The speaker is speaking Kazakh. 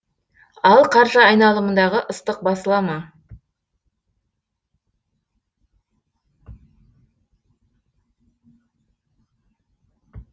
ал қаржы айналымындағы ыстық басыла ма